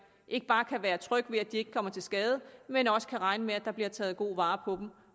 ikke bare kan være tryg ved at de ikke kommer til skade men også kan regne med at der bliver taget god vare på dem